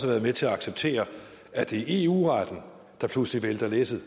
været med til at acceptere at det er eu retten der pludselig vælter læsset